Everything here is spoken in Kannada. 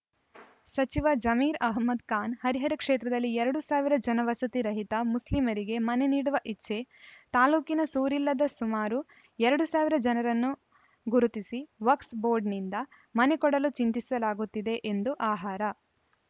ಸಚಿವ ಜಮೀರ್‌ಅಹ್ಮದ್‌ ಖಾನ್‌ ಹರಿಹರ ಕ್ಷೇತ್ರದಲ್ಲಿ ಎರಡು ಸಾವಿರ ಜನ ವಸತಿ ರಹಿತ ಮುಸ್ಲಿಮರಿಗೆ ಮನೆ ನೀಡುವ ಇಚ್ಛೆ ತಾಲೂಕಿನ ಸೂರಿಲ್ಲದ ಸುಮಾರು ಎರಡು ಸಾವಿರ ಜನರನ್ನು ಗುರುತಿಸಿ ವಕ್ಸ್ ಬೋರ್ಡಿನಿಂದ ಮನೆ ಕೊಡಲು ಚಿಂತಿಸಲಾಗುತ್ತಿದೆ ಎಂದು ಆಹಾರ